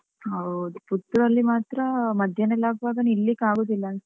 ಹೌದು, ಪುತ್ತೂರಲ್ಲಿ ಮಾತ್ರ ಮಧ್ಯಾಹ್ನ ಎಲ್ಲ ಆಗುವಾಗ ನಿಲ್ಲಿಕ್ ಆಗುದಿಲ್ಲ.